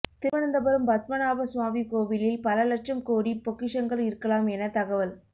திருவனந்தபுரம் பத்மநாப சுவாமி கோவிலில் பல லட்சம் கோடி பொக்கிஷங்கள் இருக்கலாம் என தகவல்